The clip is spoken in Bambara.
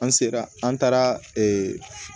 An sera an taara